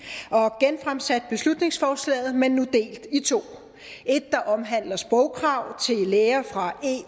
og genfremsat beslutningsforslag men nu delt i to et der omhandler sprogkrav til læger fra